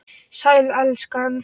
Sæl, elskan.